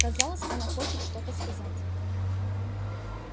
казалось она хочет что-то сказать